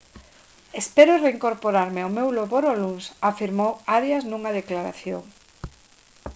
«espero reincorporarme ao meu labor o luns» afirmou arias nunha declaración